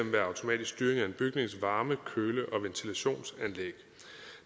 automatisk styring af en bygnings varme køle og ventilationsanlæg